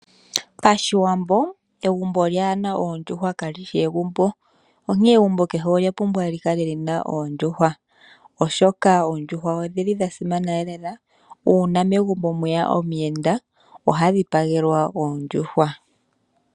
PaShiwambo egumbo lyaana oondjuhwa kali shi egumbo. Onkene egumbo kehe olya pumbwa likale lina oondjuhwa molwaashoka oondjuhwa odha simana. Nalimwe lyomomasimano olyo uuna megumbo mwe ya omuyenda oha dhipagelwa ondjuhwa.